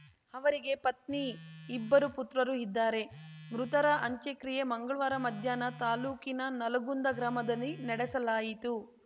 ಅವರಿಗೆ ಪತ್ನಿ ಇಬ್ಬರು ಪುತ್ರರು ಇದ್ದಾರೆ ಮೃತರ ಅಂತ್ಯಕ್ರಿಯೆ ಮಂಗಳ್ವಾರ ಮಧ್ಯಾಹ್ನ ತಾಲೂಕಿನ ನಲ್ಗುಂದ ಗ್ರಾಮದಲ್ಲಿ ನಡೆಸಲಾಯಿತು